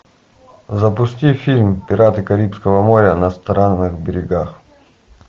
запусти фильм пираты карибского моря на странных берегах